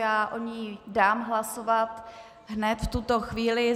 Já o ní dám hlasovat hned v tuto chvíli.